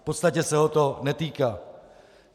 V podstatě se ho to netýká.